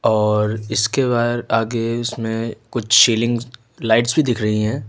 और इसके वायर आगे उसमें कुछ सीलिंग लाइट्स भी दिख रही है।